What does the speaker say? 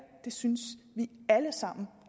synes vi alle sammen